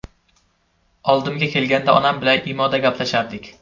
Oldimga kelganida onam bilan IMO‘da gaplashardik.